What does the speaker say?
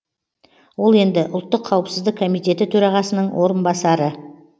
ол енді ұлттық қауіпсіздік комитеті төрағасының орынбасары және